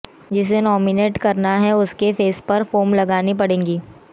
जिसे नोमिनेट करना है उसके फेस पर फोम लगानी पड़ेगी